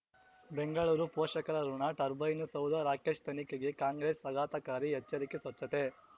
ಬೆಂಗಳೂರು ಪೋಷಕರಋಣ ಟರ್ಬೈನು ಸೌಧ ರಾಕೇಶ್ ತನಿಖೆಗೆ ಕಾಂಗ್ರೆಸ್ ಆಘಾತಕಾರಿ ಎಚ್ಚರಿಕೆ ಸ್ವಚ್ಛತೆ